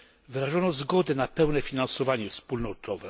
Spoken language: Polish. Wyrażono zgodę na pełne finansowanie wspólnotowe.